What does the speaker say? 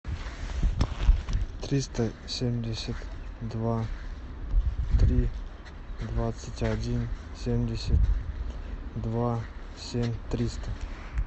триста семьдесят два три двадцать один семьдесят два семь триста